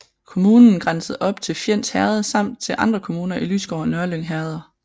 Kommunen grænsede op til Fjends Herred samt til andre kommuner i Lysgård og Nørlyng herreder